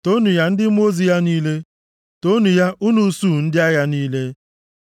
Toonu ya, ndị mmụọ ozi ya niile, toonu ya, unu usuu ndị agha ya niile.